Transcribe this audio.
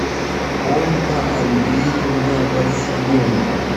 ольга андреевна василенко